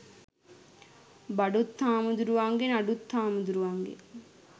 බඩුත් හාමුදුරුවන්ගේ නඩුත් හාමුදුරුවන්ගේ